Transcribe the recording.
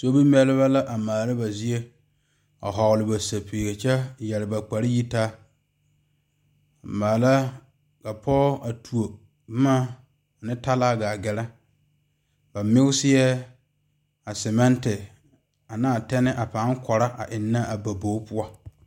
vɔgle ba sapele kpare yitaa maala ka poɔ a tuo boma ne talaa gaa gaare a selmenti eŋe a ba bogi poɔ.